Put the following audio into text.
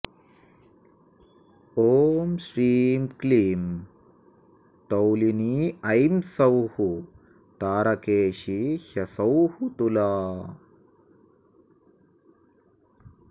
ॐ श्रीं क्लीं तौलिनी ऐं सौः तारकेशी ह्सौः तुला